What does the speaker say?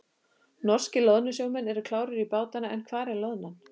Norskir loðnusjómenn eru klárir í bátana en hvar er loðnan?